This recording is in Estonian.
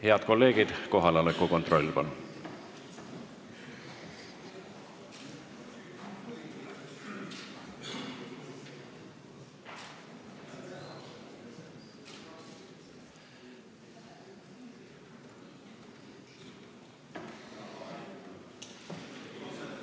Head kolleegid, kohaloleku kontroll, palun!